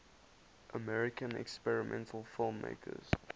american experimental filmmakers